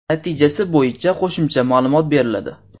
Natijasi bo‘yicha qo‘shimcha ma’lumot beriladi.